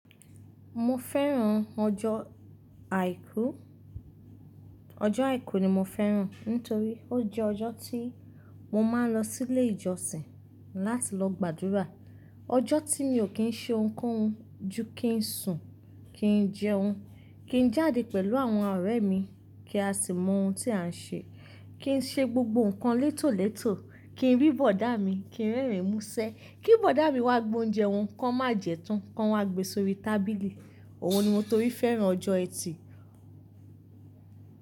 Mo fẹ́ràn ọjọ́ àìkú, ọjọ́ àìkú ni mo fẹ́ràn nítorí ó jẹ́ ọjọ́ tí mo máa ń lọ sílé ìjọsìn láti lọ gbàdúrà. Ọjọ́ tí mi ò kí ń ṣe ohunkóhun ju kí ń sùn, kí ń jẹun, kí ń jáde pẹ̀lú àwọn ọ̀rẹ́ mi kí a sì mọ ohun tí à ń ṣe, kí ń ṣe gbogbo nǹkan létólètó, kí ń rí bọ̀dá mi, kí ń rẹ́rìn músẹ́, kí bọ̀dá mi wá gbé oúnjẹ wọn kó má jẹ́ tán, kó wá gbe sórí tábìlì. Òwo ni mo torí fẹ́ràn ọjọ́ ẹtì.